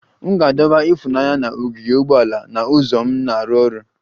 M ga-adọba ifunanya na ogige ugboala na ụzọ m na-arụ ọrụ